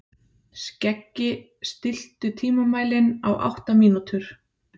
Skeggi, stilltu tímamælinn á átta mínútur.